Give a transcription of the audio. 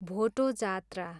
भोटो जात्रा